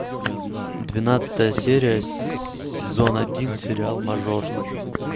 двенадцатая серия сезон один сериал мажор